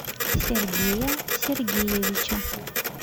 сергея сергеевича